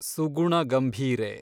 ಸುಗುಣ ಗಂಭೀರೆ